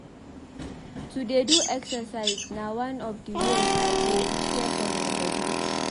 To dey do exercise na one of di ways I dey care for my bodi.